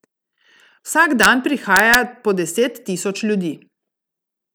Vsak dan prihaja po deset tisoč ljudi.